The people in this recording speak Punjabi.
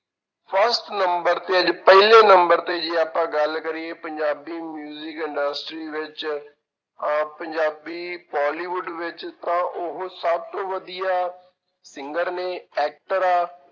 First number ਤੇ ਜੇ ਪਹਿਲੇ number ਤੇ ਜੇ ਆਪਾਂ ਗੱਲ ਕਰੀਏ ਪੰਜਾਬੀ industry ਵਿੱਚ ਅਹ ਪੰਜਾਬੀ ਪੋਲੀਵੁਡ ਵਿੱਚ ਤਾਂ ਉਹ ਸਭ ਤੋਂ ਵਧੀਆ singer ਨੇ actor ਆ,